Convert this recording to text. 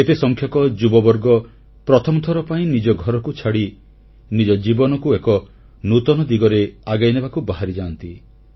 ଏତେ ସଂଖ୍ୟକ ଯୁବବର୍ଗ ପ୍ରଥମଥର ପାଇଁ ନିଜ ଘରକୁ ଛାଡ଼ି ନିଜ ଜୀବନକୁ ଏକ ନୂତନ ଦିଗରେ ଆଗେଇନେବାକୁ ବାହାରିଯାଆନ୍ତି